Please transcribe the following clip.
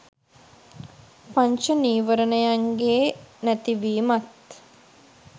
පංච නීවරණයන්ගේ නැතිවීමත්